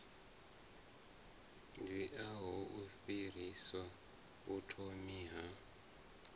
dziaho u fhirsisa vhuthomi ha